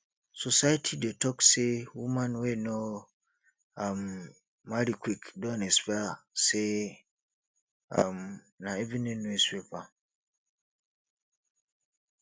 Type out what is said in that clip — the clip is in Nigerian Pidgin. society dey talk say woman wey no um marry quick don expire sey um na evening newspaper